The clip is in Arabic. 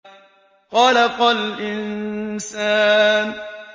خَلَقَ الْإِنسَانَ